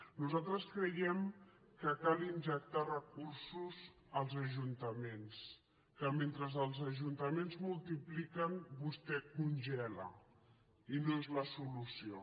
nosaltres creiem que cal injectar recursos als ajuntaments que mentre els ajuntaments multipliquen vostè congela i no és la solució